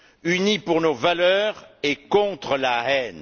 unis pour nos valeurs et contre la haine.